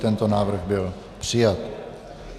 Tento návrh byl přijat.